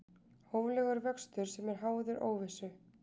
Hóflegur vöxtur sem er háður óvissu